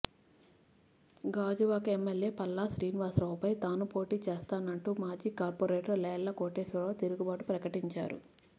గాజువాకలో ఎమ్మెల్యే పల్లా శ్రీనివాసరావుపై తానూ పోటీ చేస్తానంటూ మాజీ కార్పొరేటర్ లేళ్ల కోటేశ్వరరావు తిరుగుబాటు ప్రకటించారు